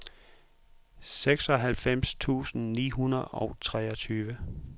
seksoghalvfems tusind ni hundrede og treogtyve